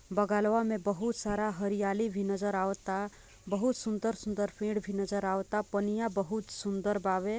बगल वा में बहुत सारा हरियाली भी नजर आवाता बहुत सुन्दर-सुन्दर पेड़ भी नजर आवाता पनिया बहुत सुन्दर बावे।